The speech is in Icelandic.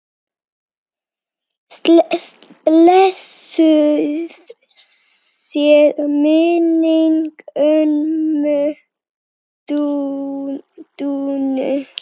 Blessuð sé minning ömmu Dúnu.